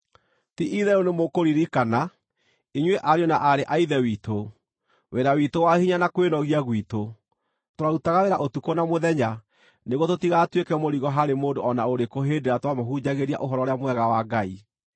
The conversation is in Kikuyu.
Ti-itherũ nĩmũkũririkana, inyuĩ ariũ na aarĩ a Ithe witũ, wĩra witũ wa hinya na kwĩnogia gwitũ; twarutaga wĩra ũtukũ na mũthenya nĩguo tũtigatuĩke mũrigo harĩ mũndũ o na ũrĩkũ hĩndĩ ĩrĩa twamũhunjagĩria Ũhoro-ũrĩa-Mwega wa Ngai.